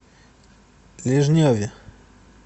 лежневе